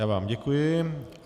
Já vám děkuji.